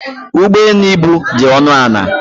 Ụgbọ elu ibu dị ọnụ ala.